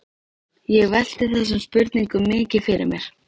Ég velti þessum spurningum mikið fyrir mér.